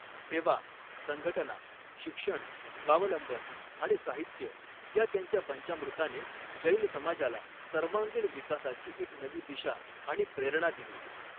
सेवा ,संघटना, शिक्षण, स्वावलंबन आणि साहित्य या त्यांच्या पंचामृताने जैन समाजाला सर्वांगीण विकासाची एक नवी दिशा आणि प्रेरणा दिली.